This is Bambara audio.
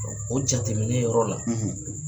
o jateminɛ yɔrɔ la